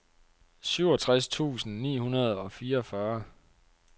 syvogtres tusind ni hundrede og fireogfyrre